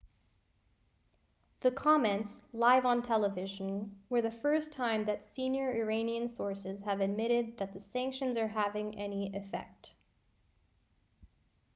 the comments live on television were the first time that senior iranian sources have admitted that the sanctions are having any effect